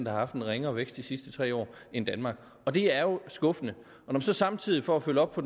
har haft en ringere vækst de sidste tre år end danmark og det er jo skuffende når man så samtidig for at følge op på